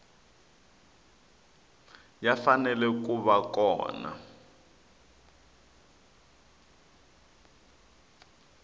ya fanele ku va kona